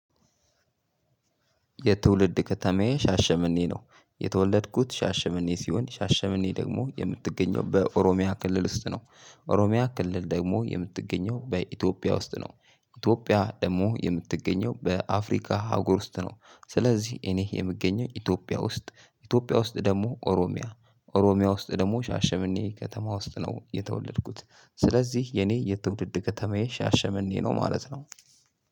የትውልድ ከተማዬ ሻሸመኔ ነው የተወለድኩት ሻሸመኔ ሲሆን ሻሸመኔ ደግሞ የምትገኘው በኦሮሚያ ክልል ውስጥ ነው ኦሮሚያ ክልል ደግሞ የምትገኘው በኢትዮጵያ ውስጥ ነው። ኢትዮጵያ ደግሞ የምትገኘው በአፍሪካ ሀጉር ውስጥ ነው ስለዚህ እኔ የምገኘው ኢትዮጵያ ውስጥ ኢትዮጵያ ውስጥ ደግሞ ኦሮሚያ ኦሮሚያ ውስጥ ደግሞ ሻሸምኔ ከተማ ውስጥ ነው የተወለድኩት። ስለዚህ የኔ የትውልድ ከተማዬ ሻሸመኔ ነው ማለት ነው።